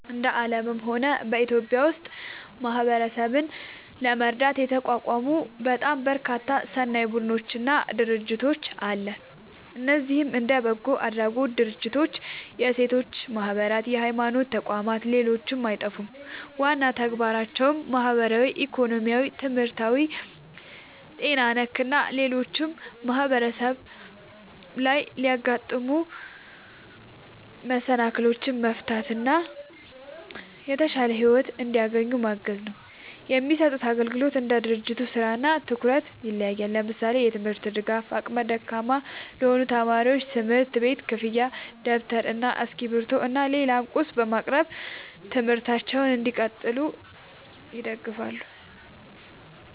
እንደ አለምም ሆነ በኢትዮጵያ ውስጥ ማህበረሰብን ለመርዳት የተቋቋሙ በጣም በርካታ ሰናይ ቡድኖች እና ድርጅቶች አለ። እነዚህም እንደ በጎ አድራጎት ድርጅቶች፣ የሴቶች ማህበራት፣ የሀይማኖት ተቋም ሌሎችም አይጠፉም። ዋና ተግባራቸውም ማህበራዊ፣ ኢኮኖሚያዊ፣ ትምህርታዊ፣ ጤና ነክ እና ሌሎችም ማህበረሰብ ላይ የሚያጋጥሙ መሰናክሎችን መፍታት እና የተሻለ ሒወት እንዲያገኙ ማገዝ ነው። የሚሰጡት አግልግሎት እንደ ድርጅቱ ስራ እና ትኩረት ይለያያል። ለምሳሌ፦ የትምርት ድጋፍ አቅመ ደካማ ለሆኑ ተማሪዎች የትምህርት ቤት ክፍያ ደብተር እና እስክሪብቶ እና ሌላም ቁስ በማቅረብ ትምህርታቸውን እንዲቀጥሉ ይደግፋሉ